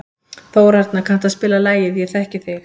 Þórarna, kanntu að spila lagið „Ég þekki þig“?